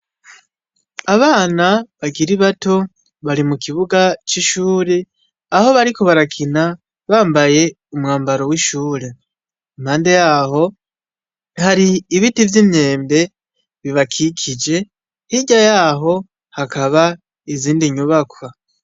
Abana bakiri bato bari mukibuga c'ishure aho bariko barakina bambaye umwambaro w'ishure impande yaho har'ibiti vy'imyembe bibakikije hirya yaho hakaba izindi nyubakwa .